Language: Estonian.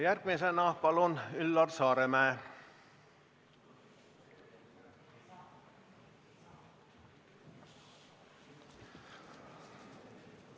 Järgmisena palun Üllar Saaremäe!